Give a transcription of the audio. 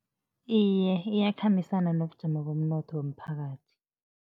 Iye, iyakhambisana nobujamo bomnotho womphakathi.